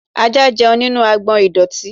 Ajá jẹun nínú agbọ̀n ìdọ̀tí.